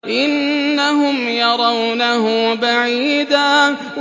إِنَّهُمْ يَرَوْنَهُ بَعِيدًا